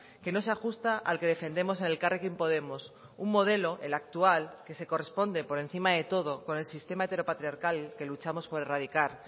que no se ajusta al que defendemos en elkarrekin podemos un modelo el actual que se corresponde por encima de todo con el sistema heteropatriarcal que luchamos por erradicar